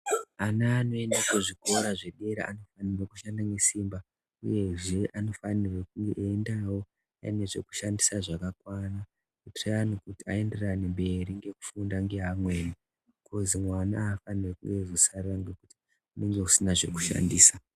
Ana anoenda kuzvikora zvedera anofanire kushande nesimba uyezve anofanirwe kuendawo ane zvekushandisa zvakakwana kutiraya nekuti aenderane mberi ngekufunda ngeamweni kozi mwana aafaniri kuzosara nekuti anenge asina zvekushandisa .